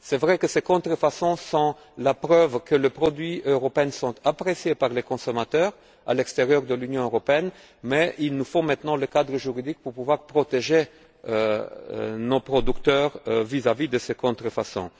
Il est vrai que ces contrefaçons sont la preuve que les produits européens sont appréciés par les consommateurs à l'extérieur de l'Union mais il nous faut, maintenant, le cadre juridique pour pouvoir protéger nos producteurs vis à vis de ces contrefaçons.